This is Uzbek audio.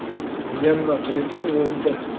Myanma birinchi o‘rinda.